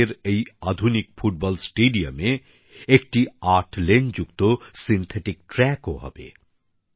লাদাখের এই আধুনিক ফুটবল স্টেডিয়ামে একটি ৮ লেন যুক্ত সিন্থেটিক ট্র্যাকও হবে